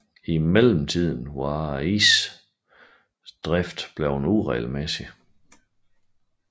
I mellemtiden var isens drift blevet uregelmæssig